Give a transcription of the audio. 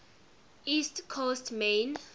east coast maine